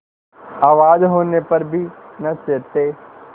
आवाज होने पर भी न चेतते